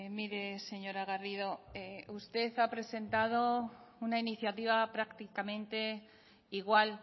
mire señora garrido usted ha presentado una iniciativa prácticamente igual